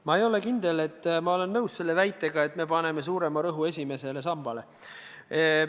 Ma ei ole kindel, et ma olen nõus väitega, et me paneme suurema rõhu esimesele sambale.